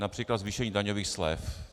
Například zvýšení daňových slev.